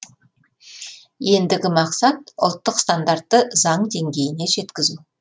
ендігі мақсат ұлттық стандартты заң деңгейіне жеткізу